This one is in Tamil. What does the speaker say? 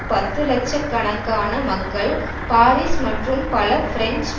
பத்துலட்சக் கணக்கான மக்கள் பாரிஸ் மற்றும் பல பிரெஞ்சு